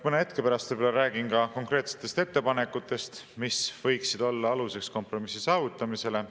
Mõne hetke pärast räägin konkreetsetest ettepanekutest, mis võiksid olla aluseks kompromissi saavutamisele.